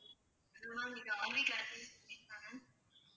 ma'am இது RV catering service தான